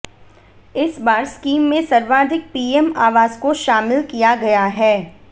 इस बार स्कीम में सर्वाधिक पीएम आवास को शामिल किया गया है